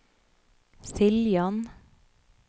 Siljan